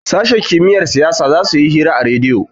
sashen kimiyyar siyasa za su yi hira a rediyo